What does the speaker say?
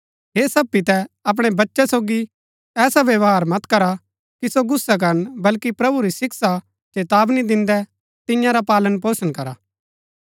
हे सब पितै अपणै बच्चै सोगी ऐसा व्यवहार मत करा कि सो गुस्सा करन बल्‍की प्रभु री शिक्षा चेतावनी दिन्दै तियां रा पालनपोषण करा